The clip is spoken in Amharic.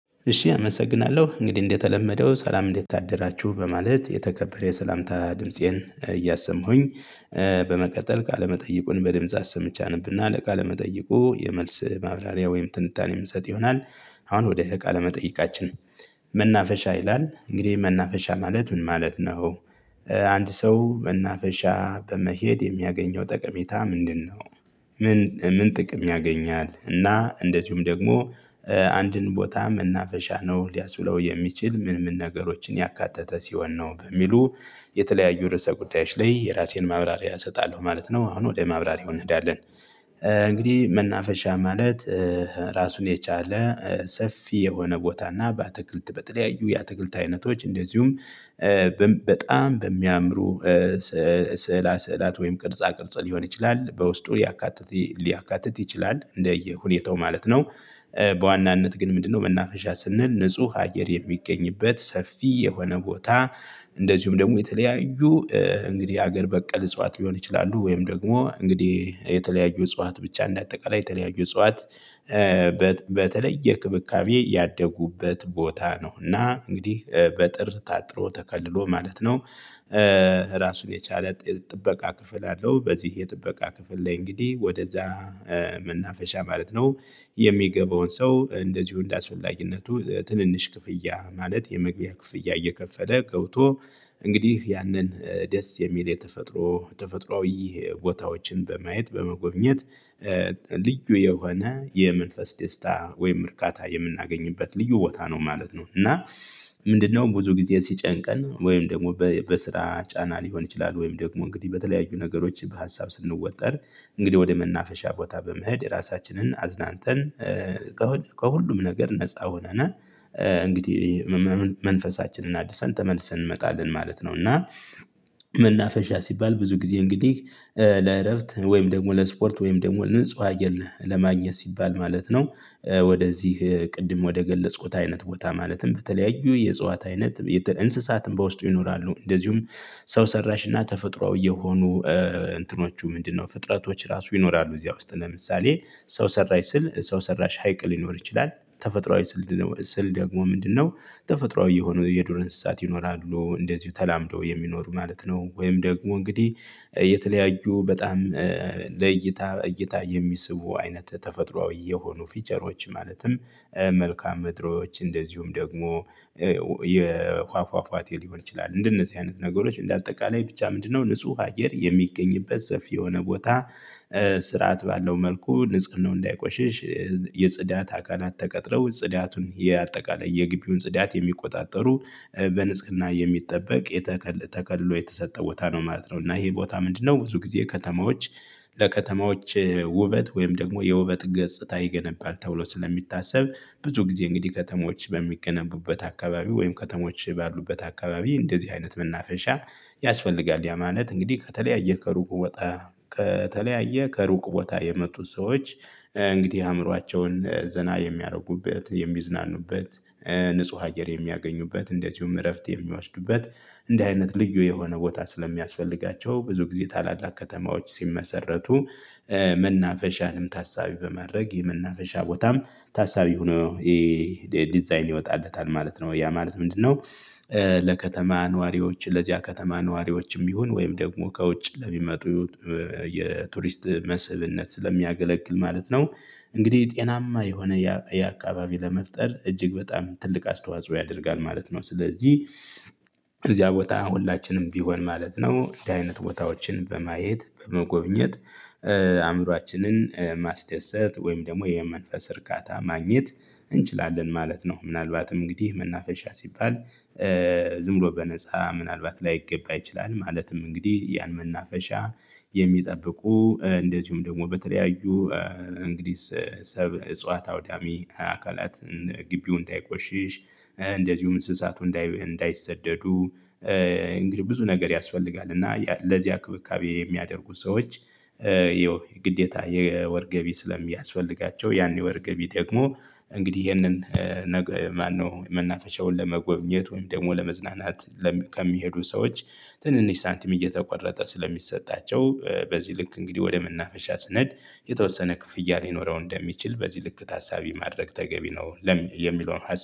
እሺ አመሰግናለሁ እንግዲህ እንደተለመደው ሰላም እንድታደራችሁ በማለት የተከበረ የሰላምታ ድምፄን እያሰማሁኝ። በመቀጠል ቃለመጠይቁን በድምጽ አሰምቻለሁኝ አነብ እና ቃለመጠይቁ የመልስ ማብራሪያ ወይም ትንታኔ የምሰጥ ይሆናል። አሁን ወደ ቃለ መጠየቃችን። መናፈሻ ይላል እንግዲህ መናፈሻ ማለት ምን ማለት ነው? አንድ ሰው መናፈሻ በመሄድ የሚያገኘው ጠቀሜታ ምንድነው? ምን ጥቅም ያገኛል እና እንደዚሁም ደግሞ። አንድን ቦታ መናፈሻ ነው ሊያብለው የሚችል ምን ምን ነገሮችን ያካተተ ሲሆን ነው በሚሉ? የተለያዩ ርዕሰ ጉዳዮች ላይ የራሴን ማብራሪያ እሰጣለሁ ማለት ነው። አሁን ወደ ማብራሪያው እንሄዳለን። እንግዲህ መናፈሻ ማለት ራሱን የቻለ ሰፊ የሆነ ቦታና በአትክልት በተለያዩ የአትክልት አይነቶች እንደዚሁም በጣም በሚያምሩ ስዕላ ስዕላት ወይም ቅርጻ ቅርጽ ሊሆን ይችላል በውስጡ ሊያካትት ሊያካትት ይችላል እንደየሁኔታው ማለት ነው። በዋናነት ግን ምንድነው መናፈሻ ስንል ንጹህ አየር የሚገኝበት ሰፊ የሆነ ቦታ። እንደዚሁም ደግሞ የተለያዩ እንግዲህ ሀገር በቀል እጽዋት ሊሆን ይችላሉ ወይም ደግሞ እንግዲህ የተለያዩ እጽዋት ብቻ እንደ አጠቃላይ የተለያዩ እጽዋት። በተለይ ክብካቤ ያደጉበት ቦታ ነውና እንግዲህ በእጥር ታጥሮ ተከልሎ ማለት ነው። ራሱን የቻለ ጥበቃ ክፍል አለው። በዚህ የጥበቃ ክፍል ላይ እንግዲህ ወደዛ መናፈሻ ማለት ነው። የሚገባውን ሰው እንደዚሁ እንዳስፈላጅነቱ ትንንሽ ክፍያ ማለት የመግቢያ ክፍያ እየከፈለ ገብቶ። እንግዲህ ያንን ደስ የሚል የተፈጥሮ ተፈጥሮአዊ ቦታዎችን በማየት በመጎብኘት። ልዩ የሆነ የመንፈስ ደስታ ወይም እርካታ የምናገኝበት ልዩ ቦታ ነው ማለት ነው። እና ምንድነው ብዙ ጊዜ ሲጨንቀን ወይም ደግሞ በስራ ጫና ሊሆን ይችላል ወይም ደግሞ እንግዲህ በተለያዩ ነገሮች በሀሳብ ስንወጠር። እንግዲህ ወደ መናፈሻ ቦታ በመሄድ ራሳችንን አዝናንተን ከሁሉም ነገር ነፃ ሆነና እንግዲህ መንፈሳችንን አድርሰን ተመልሰን እንመጣለን ማለት ነው። እና መናፈሻ ሲባል ብዙ ጊዜ እንግዲህ ለእረፍት ወይም ደግሞ ለስፖርት ወይም ደግሞ ንጹህ አየር ለማግኘት ሲባል ማለት ነው። ወደዚህ ቅድም ወደገለጽኩት አይነት ቦታ ማለትም በተለያዩ የጽዋት አይነት እንስሳትም በውስጡ ይኖራሉ። እንደዚሁም ሰው ሰራሽ እና ተፈጥሮአዊ የሆኑ እንትኖቹ ምንድነው ፍጥረቶች ራሱ ይኖራሉ። እዚያ ውስጥ ለምሳሌ ሰው ሰራሽ ስል ሰው ሰራሽ ሀይቅ ሊኖር ይችላል። ተፈጥሮአዊ ስል ስል ደግሞ ምንድነው? ተፈጥሮአዊ የሆኑ የዱር እንስሳት ይኖራሉ እንደዚሁ ተላምዶ የሚኖሩ ማለት ነው። ወይም ደግሞ እንግዲህ የተለያዩ በጣም ለእይታ እይታ የሚስቡ አይነት ተፈጥሮአዊ የሆኑ ፊቸሮች ማለትም። መልካም ምድሮች እንደዚሁም ደግሞ የፏፏፏቴ ሊሆን ይችላል እንደነዚህ አይነት ነገሮች እንደ አጠቃላይ ብቻ ምንድነው ንጹህ አየር የሚገኝበት ሰፊ የሆነ ቦታ። ስርዓት ባለው መልኩ ንጽህናው እንዳይቆሽሽ የጽዳት አካላት ተቀጥረው ጽዳቱን የአጠቃላይ የግቢውን ጽዳት የሚቆጣጠሩ በንጽግና የሚጠበቅ የተከልሎ የተሰጠ ቦታ ነው ማለት ነው። እና ይሄ ቦታ ምንድነው? ብዙ ጊዜ ከተማዎች ለከተማዎች ውበት ወይም ደግሞ የውበት ገጽታ ይገነባል ተብሎ ስለሚታሰብ ብዙ ጊዜ እንግዲህ ከተሞች በሚገነቡበት አካባቢ ወይም ከተሞች ባሉበት አካባቢ እንደዚህ አይነት መናፈሻ። ያስፈልጋል ያ ማለት እንግዲህ ከተለያየ ከሩቅ ቦታ ከተለያየ ከሩቅ ቦታ የመጡት ሰዎች እንግዲህ አእምሯቸውን ዘና የሚያደርጉበት የሚዝናኑበት። ንጹህ አየር የሚያገኙበት እንደዚሁም እረፍት የሚያወስዱበት እንዲህ አይነት ልዩ የሆነ ቦታ ስለሚያስፈልጋቸው ብዙ ጊዜ ታላላቅ ከተማዎች ሲመሰረቱ። መናፈሻንም ታሳቢ በማድረግ የመናፈሻ ቦታም ታሳቢ ሆኖ ይሄ ዲዛይን ይወጣበታል ማለት ነው። ያ ማለት ምንድነው? ለከተማ ነዋሪዎች ለዚያ ከተማ ነዋሪዎችም ይሁን ወይም ደግሞ ከውጭ ለሚመጡ የቱሪስት መስብነት ስለሚያገለግል ማለት ነው። እንግዲህ ጤናማ የሆነ ያ ያ አካባቢ ለመፍጠር እጅግ በጣም ትልቅ አስተዋጽኦ ያደርጋል ማለት ነው። ስለዚህ። እዚያ ቦታ ሁላችንም ቢሆን ማለት ነው እንደ አይነት ቦታዎችን በማየት በመጎብኘት አእምሮአችንን ማስደሰት ወይም ደግሞ የመንፈስ እርካታ ማግኘት እንችላለን ማለት ነው። ምናልባትም እንግዲህ መናፈሻ ሲባል። ዝም ብሎ በነፃ ምናልባት ላይገባ ይችላል። ማለትም እንግዲህ ያን መናፈሻ የሚጠብቁ እንደዚሁም ደግሞ በተለያዩ እንግዲህ ሰብ እጽዋት አውዳሚ አካላት ግቢውን እንዳይቆሽሽ እንደዚሁም እንስሳቱ እንዳይሰደዱ። እንግዲህ ብዙ ነገር ያስፈልጋል። እና ለዚህ አክብካቤ የሚያደርጉ ሰዎች። ይኸው የግዴታ የወር ገቢ ስለሚያስፈልጋቸው ያን ወር ገቢ ደግሞ እንግዲህ ይሄንን ነገ ማነው የመናፈሻውን ለመጎብኘት ወይም ደግሞ ለመዝናናት። ከሚሄዱ ሰዎች ትንንሽ ሳንቲም እየተቆረጠ ስለሚሰጣቸው በዚህ ልክ እንግዲህ ወደ መናፈሻ ስነድ የተወሰነ ክፍያ ሊኖረው እንደሚችል በዚህ ልክ ታሳቢ ማድረግ ተገቢ ነው። ለምን የሚለውን ሀሳብ